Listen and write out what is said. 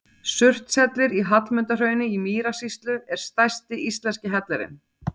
Surtshellir í Hallmundarhrauni í Mýrasýslu er stærsti íslenski hellirinn.